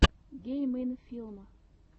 гейм ин филм